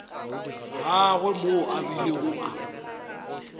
gagwe moo a bilego a